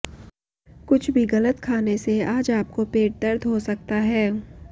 कुछ भी गलत खाने से आज आपको पेट दर्द हो सकता हैं